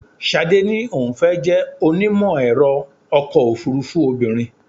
Ṣadé ní òun fẹ́ jẹ́ onímọ̀-ẹ̀rọ ọkọ̀ òfúrúfú obìnrin.